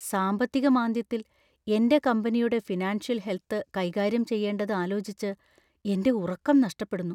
സാമ്പത്തിക മാന്ദ്യത്തിൽ എന്‍റെ കമ്പനിയുടെ ഫിനാൻഷ്യൽ ഹെൽത്ത് കൈകാര്യം ചെയ്യേണ്ടത് ആലോചിച്ച്‌ എന്‍റെ ഉറക്കം നഷ്ടപ്പെടുന്നു.